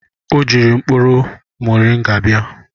Ọ jiri mkpụrụ mọrịnga bịa.